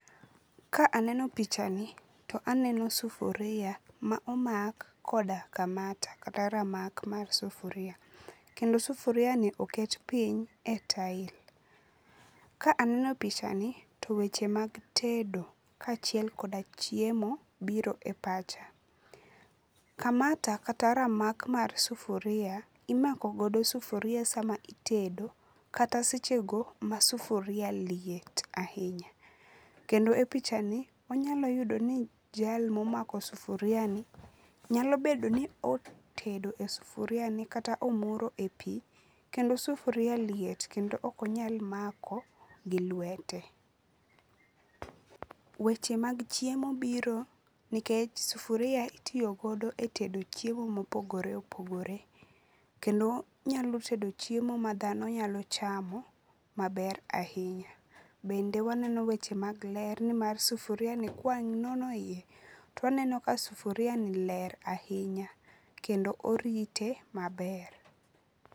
Ka aneno pichani to aneno sufuria ma omak koda kamata kata ramak mar sufuria. Kendo sufuriani oket piny e tile. Ka aneno pichani to weche mag tedo kaachiel koda chiemo biro e pacha. Kamata kata ramak mar sufuria imakogodo sufuria sama itedo kata sechego ma sufuria liet ahinya, kendo e pichani wanyalo yudo ni jal momako sufuriani nyalo bedo ni otedo e sufuriani kata omuro e pi kendo sufuriani liet kendo ok onyal mako gi lwete. Weche mag chiemo biro nikech sufuria itiyogodo e tedo chiemo mopogore opogore kendo nyalo tedo chiemo ma dhano nyalo chamo maber ahinya. Bende waneno weche mag ler nmar sufuriani kwanono iye to waneno ka sufuriani ler ahinya kendo orite maber.